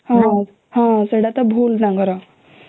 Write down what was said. ହୁଁ ସେଇଟା ତ ଭୁଲ ତାଙ୍କ ର